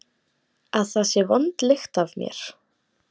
Að það sé vond lykt af mér?